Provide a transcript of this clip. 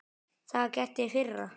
Það var gert í fyrra.